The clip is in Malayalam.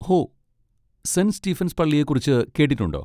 ഹോ.. സെന്റ് സ്റ്റീഫൻസ് പള്ളിയെക്കുറിച്ച് കേട്ടിട്ടുണ്ടോ?